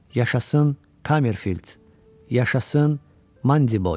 Yaşasın Kamerfild, Yaşasın Mandiboy.